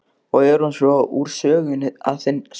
Og er hún svo úr sögunni að sinni.